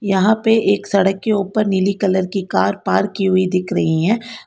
यहां पे एक सड़क के ऊपर नीली कलर की कार पार्क की हुई दिख रही हैं।